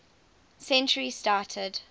century started